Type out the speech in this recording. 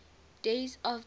days of the year